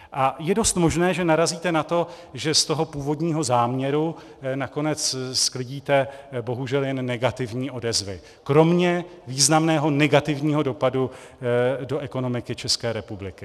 A je dost možné, že narazíte na to, že z toho původního záměru nakonec sklidíte bohužel jenom negativní odezvy, kromě významného negativního dopadu do ekonomiky České republiky.